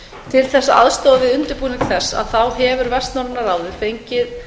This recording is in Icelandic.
til þess að aðstoða við undirbúning þess hefur vestnorræna fengið